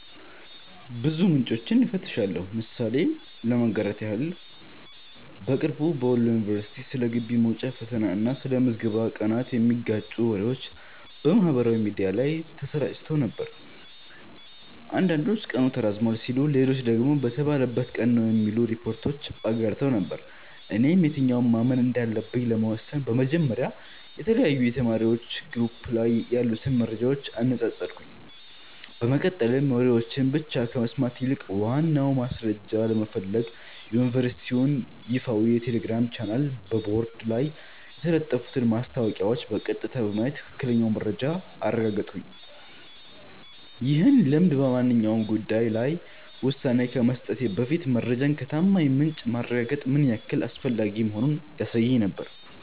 ብዙ ምንጮችን እፈትሻለሁ። ምሳሌ ለማጋራት ያህል፦ በቅርቡ በወሎ ዩኒቨርሲቲ ስለ ግቢ መውጫ ፈተና እና ስለ ምዝገባ ቀናት የሚጋጩ ወሬዎች በማህበራዊ ሚዲያ ላይ ተሰራጭተው ነበር። አንዳንዶች ቀኑ ተራዝሟል ሲሉ፣ ሌሎች ደግሞ በተባለበት ቀን ነው የሚሉ ሪፖርቶችን አጋርተው ነበር። እኔም የትኛውን ማመን እንዳለብኝ ለመወሰን በመጀመሪያ የተለያዩ የተማሪዎች ግሩፖች ላይ ያሉትን መረጃዎች አነጻጸርኩ፤ በመቀጠልም ወሬዎችን ብቻ ከመስማት ይልቅ ዋናውን ማስረጃ ለመፈለግ የዩኒቨርሲቲውን ይፋዊ የቴሌግራም ቻናልና በቦርድ ላይ የተለጠፉትን ማስታወቂያዎች በቀጥታ በማየት ትክክለኛውን መረጃ አረጋገጥኩ። ይህ ልምድ በማንኛውም ጉዳይ ላይ ውሳኔ ከመስጠቴ በፊት መረጃን ከታማኝ ምንጭ ማረጋገጥ ምን ያህል አስፈላጊ መሆኑን ያሳየኝ ነበር።